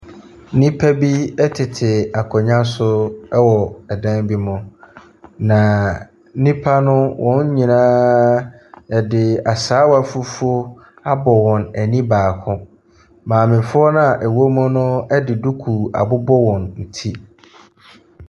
Nnipa bi tete akonnwa so ɛwɔ ɛdan bi mu. Na nnipa no wɔn nyinaa yɛde asaawa fufuo abɔ wɔn ani baako. Maamefoɔ na ɛwɔ mu no de duku abobɔ wɔn ti.